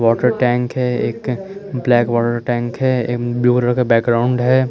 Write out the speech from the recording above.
water tank हैं एक black water tank हैं एक ब्लू कलर का बेक ग्राउंड हैं--